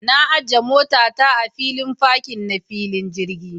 Na ajiya mota ta a filin fakin na filin jirgi.